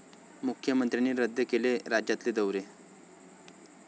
मुख्यमंत्र्यांनी रद्द केले राज्यातले दौरे